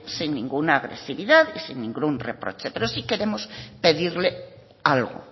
sin ninguna agresividad y sin ningún reproche pero sí queremos pedirle algo